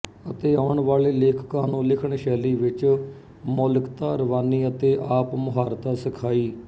ਅਤੇ ਆਉਣ ਵਾਲੇ ਲੇਖਕਾਂ ਨੂੰ ਲਿਖਣ ਸ਼ੈਲੀ ਵਿੱਚ ਮੌਲਿਕਤਾ ਰਵਾਨੀ ਅਤੇ ਆਪਮੁਹਾਰਤਾ ਸਿਖਾਈ